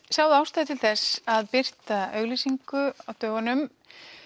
sáuð ástæðu til þess að birta auglýsingu á dögunum